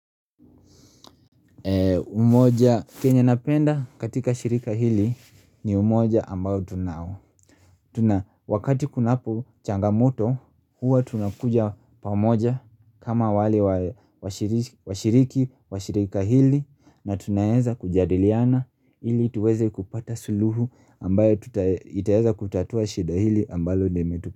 Umoja kenya napenda katika shirika hili ni umoja ambayo tunao Wakati kunapo changamoto huwa tunakuja pamoja kama wale wa shiriki wa shirika hili na tunaeza kujadiliana hili tuweze kupata suluhu ambayo itaeza kutatua shida hili ambalo dimetu.